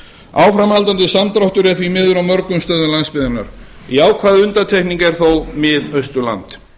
áframhaldandi samdráttur er því miður á mörgum stöðum landsbyggðarinnar jákvæð undantekning er þó mið austurland